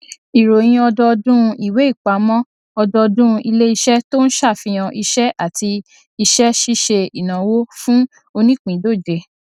mo máa jẹ ẹni àkọkọ tó ma gbà pé ṣíṣe ìgbélárugẹ fún ìṣe takọtabo nínú ìṣèdarí kò lè ṣẹlẹ lójijì